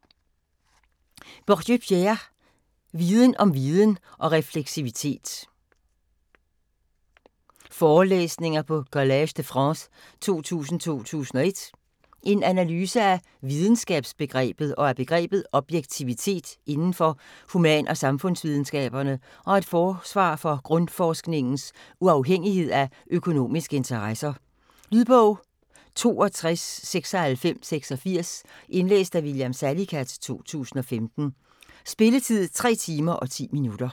Bourdieu, Pierre: Viden om viden og refleksivitet: forelæsninger på Collège de France 2000-2001 En analyse af videnskabsbegrebet og af begrebet objektivitet inden for human- og samfundsvidenskaberne og et forsvar for grundforskningens uafhængighed af økonomiske interesser. Lydbog 629686 Indlæst af William Salicath, 2015. Spilletid: 3 timer, 10 minutter.